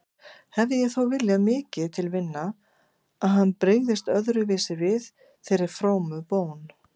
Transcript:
Hefði ég þó viljað mikið til vinna að hann brygðist öðruvísi við þeirri frómu bón.